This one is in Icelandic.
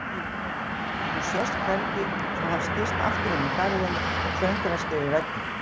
Hún sést hvergi svo hann skýst aftur inn í garðinn og klöngrast yfir vegginn.